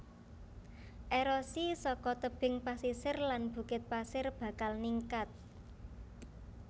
Erosi saka tebing pasisir lan bukit pasir bakal ningkat